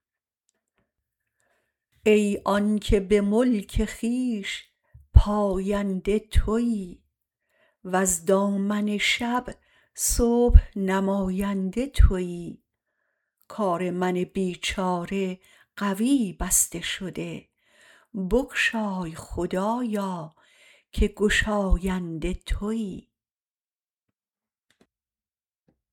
ای آنکه به ملک خویش پاینده تویی وز دامن شب صبح نماینده تویی کار من بیچاره قوی بسته شده بگشای خدایا که گشاینده تویی